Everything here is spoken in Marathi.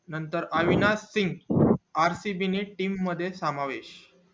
नंतर अविनाश सिघ rcb team ने मध्ये समावेश